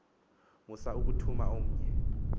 musa ukuthuma omnye